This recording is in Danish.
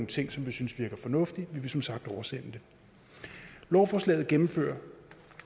ting som vi synes virker fornuftige men vi vil som sagt oversende det lovforslaget gennemfører